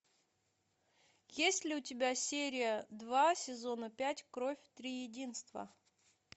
есть ли у тебя серия два сезона пять кровь триединства